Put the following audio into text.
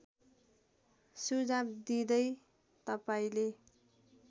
सुझाव दिँदै तपाईँले